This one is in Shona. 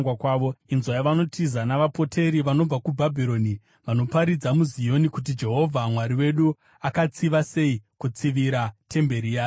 Inzwai vanotiza navapoteri vanobva kuBhabhironi, vanoparidza muZioni kuti Jehovha Mwari wedu akatsiva sei, kutsivira temberi yake.